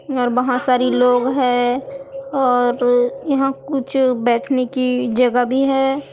और बहोत सारी लोग है और यहां कुछ बैठने की जगह भी है।